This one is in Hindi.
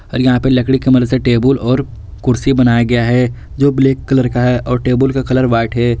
और यहाँ पे लकड़ी की मदद से टेबुल और कुर्सी बनाया गया है जो ब्लैक कलर का है और टेबुल का कलर व्हाइट है।